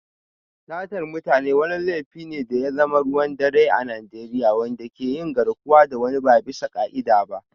Satar mutane wani laifi ne da ya zama ruwan dare a Najeriya, wanda ke yin garkuwa da wani ba bisa ka'ida ba.